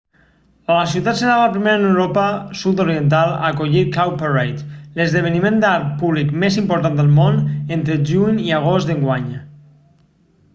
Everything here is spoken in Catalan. la ciutat serà la primera en l'europa sud-oriental a acollir cowparade l'esdeveniment d'art públic més important al món entre juny i agost d'enguany